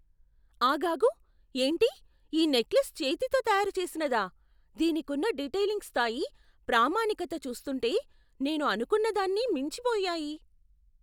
ఆగాగు! ఏంటి ఈ నెక్లెస్ చేతితో తయారు చేసినదా? దీనికున్న డీటయిలింగ్ స్థాయి, ప్రామాణికత చూస్తుంటే నేను అనుకున్న దాన్ని మించిపోయాయి!